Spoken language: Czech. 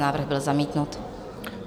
Návrh byl zamítnut.